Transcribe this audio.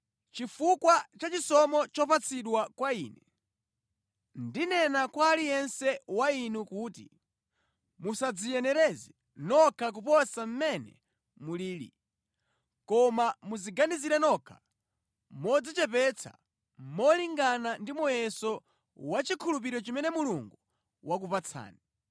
Chifukwa cha chisomo chopatsidwa kwa ine, ndinena kwa aliyense wa inu kuti musadziyenereze nokha kuposa mmene mulili. Koma mudziganizire nokha modzichepetsa, molingana ndi muyeso wa chikhulupiriro chimene Mulungu wakupatsani.